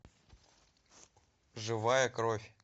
живая кровь